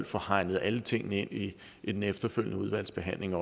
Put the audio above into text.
få hegnet alle tingene ind i den efterfølgende udvalgsbehandling